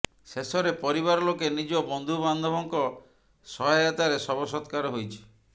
ଶେଷରେ ପରିବାର ଲୋକେ ନିଜ ବନ୍ଧୁବାନ୍ଧବଙ୍କ ସହାୟତାରେ ଶବ ସତ୍କାର ହୋଇଛି